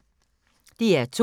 DR2